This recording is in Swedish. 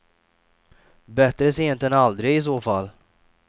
Bättre sent än aldrig, i så fall.